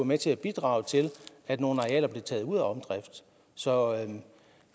med til at bidrage til at nogle arealer blev taget ud af omdrift så